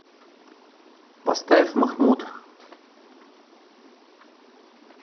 поставь махмуд